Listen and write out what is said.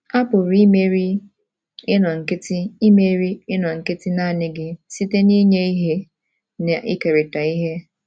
A pụrụ imeri inọ nkịtị imeri inọ nkịtị naanị gị site n’inye ihe na ikerịta ihe